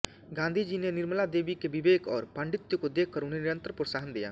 गांधीजी ने निर्मला देवी के विवेक और पांडित्य को देखकर उन्हें निरंतर प्रोत्साहन दिया